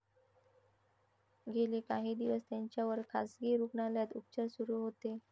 गेले काही दिवस त्यांच्यावर खासगी रुग्णालयात उपचार सुरू होते.